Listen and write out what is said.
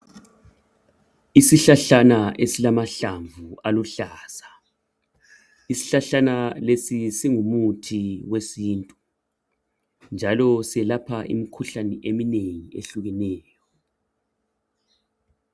isihlahlana esilamahlamvu aluhlaza isihlahlana lesi singumuthi wesintu njalo siyelapha umkhuhlane ohlukeneyo